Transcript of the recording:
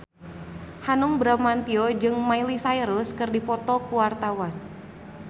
Hanung Bramantyo jeung Miley Cyrus keur dipoto ku wartawan